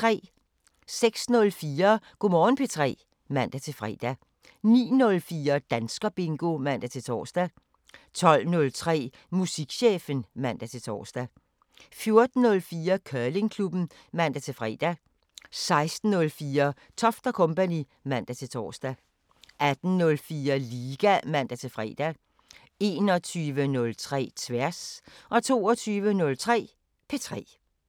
06:04: Go' Morgen P3 (man-fre) 09:04: Danskerbingo (man-tor) 12:03: Musikchefen (man-tor) 14:04: Curlingklubben (man-fre) 16:04: Toft & Co. (man-tor) 18:04: Liga (man-fre) 21:03: Tværs 22:03: P3